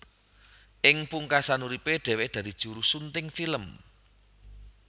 Ing pungkasan uripe dheweke dadi juru sunting film